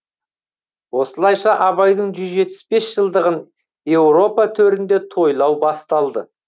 осылайша абайдың жүз жетпіс бес жылдығын еуропа төрінде тойлау басталды